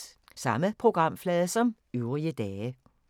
Samme programflade som øvrige dage